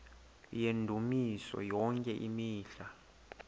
yendumiso yonke imihla